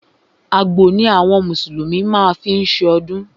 Àgbò ni àwọn mùsùlùmí má ń fí ṣọdún.